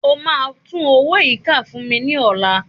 O máa tún owó yìí kà fún mi ní ọ̀la